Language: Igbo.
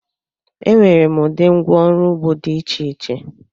Enwere m ụdị ngwá ọrụ ugbo dị iche iche.